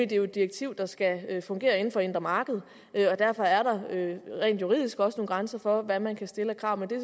det er jo et direktiv der skal fungere inden for det indre marked og derfor er der rent juridisk også nogle grænser for hvad man kan stille af krav men det er